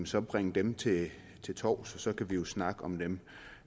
så bring dem til til torvs og så kan vi jo snakke om dem